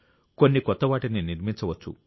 కొన్ని కొత్త వాటిని నిర్మించవచ్చు